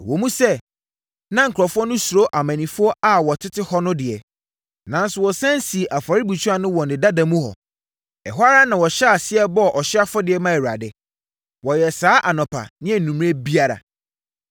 Ɛwom sɛ na nkurɔfoɔ no suro amannifoɔ a wɔtete hɔ no deɛ, nanso wɔsane sii afɔrebukyia no wɔ ne dada mu hɔ. Ɛhɔ ara na wɔhyɛɛ aseɛ bɔɔ ɔhyeɛ afɔdeɛ maa Awurade. Wɔyɛɛ saa anɔpa ne anwummerɛ biara.